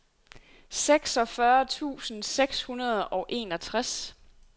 seksogfyrre tusind seks hundrede og enogtres